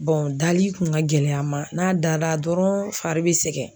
dali kun ka gɛlɛ a ma, n'a dara dɔrɔnw, fari bi sɛgɛn.